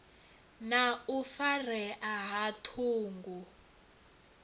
na u farea ha ṱhungu